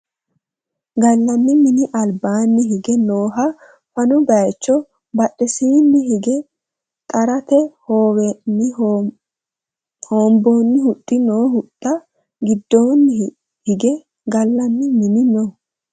gallani mini albaanni hige nooha fano bayeecho badhesiini hige xarrate hoowenni hoonbooni huxxi no huxxu giddoonni hige gallanni mini no